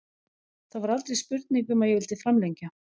Það var aldrei spurning um að ég vildi framlengja.